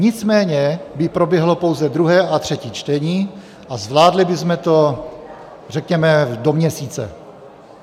Nicméně by proběhlo pouze druhé a třetí čtení a zvládli bychom to řekněme do měsíce.